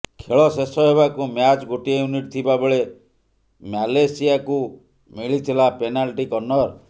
ଖେଳ ଶେଷ ହେବାକୁ ମାତ୍ର ଗୋଟିଏ ମିନିଟ୍ ଥିବା ବେଳେ ମ୍ୟାଲେସିୟାକୁ ମିଳିଥିଲା ପେନାଲ୍ଟି କର୍ଣ୍ଣର୍